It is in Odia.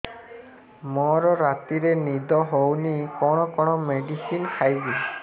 ମୋର ରାତିରେ ନିଦ ହଉନି କଣ କଣ ମେଡିସିନ ଖାଇବି